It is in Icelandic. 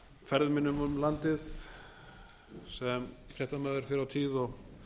ferðum mínum landið á fréttamaður fyrr á tíð og